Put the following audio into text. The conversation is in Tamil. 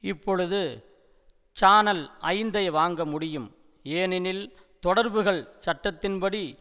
இப்பொழுது சானல் ஐந்தை வாங்க முடியும் ஏனெனில் தொடர்புகள் சட்டத்தின்படி